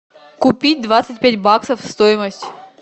купить двадцать пять баксов стоимость